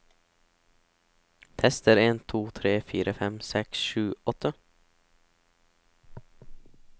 Tester en to tre fire fem seks sju åtte